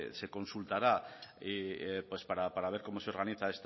se consultará para ver cómo se organiza